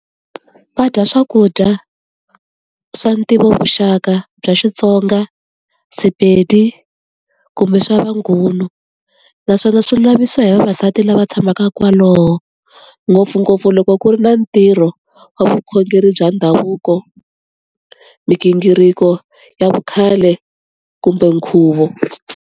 Va dya swakudya swa ntivo vuxaka bya Xitsonga, Sepedi kumbe swa va Nguni. Naswona swilo lavisisiwa hi vavasati lava tshamaka kwalaho, ngopfungopfu loko ku ri na ntirho wa vukhongeri bya ndhavuko, migingiriko ya vukhale kumbe nkhuvo.